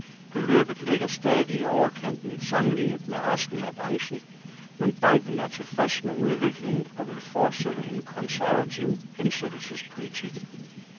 Beløbet ligger stadig i overkanten sammenlignet med resten af branchen, men banken er tilfreds med udviklingen og vil fortsætte en konservativ hensættelsespolitik.